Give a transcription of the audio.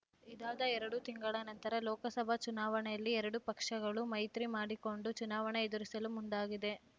ಇದಾದ ಎರಡು ತಿಂಗಳ ನಂತರ ಲೋಕಸಭಾ ಚುನಾವಣೆಯಲ್ಲಿ ಎರಡೂ ಪಕ್ಷಗಳು ಮೈತ್ರಿ ಮಾಡಿಕೊಂಡು ಚುನಾವಣೆ ಎದುರಿಸಲು ಮುಂದಾಗಿದೆ